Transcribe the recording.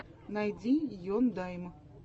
найди ендайм